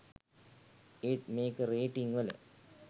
ඒත් මේක රේටිං වල